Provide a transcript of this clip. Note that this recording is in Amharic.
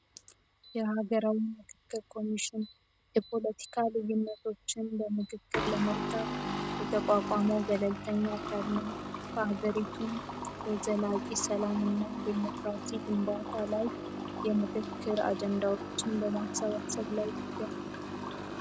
የሀገራውን መክክብ ኮሚሽን የፖለቲካ ልዩነቶችን በምክክር ለመጥታት የተቋቋመው ገለልተኛ ካርነው በሀገሪቱም የዘላቂ ሰላም እና ዴሞክራቲ ግንባታ ላይ የምክክር አጀንዳሮችን በማሳባሰብ ላይ ይገኛል።